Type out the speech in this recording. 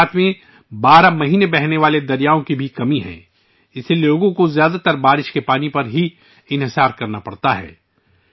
گجرات میں بارہ ماسی بہنے والے دریاؤں کی بھی کمی ہے، اس لیے لوگوں کو زیادہ تر بارش کے پانی پر انحصار کرنا پڑتا ہے